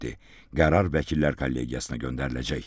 Qərar vəkillər kollegiyasına göndəriləcək.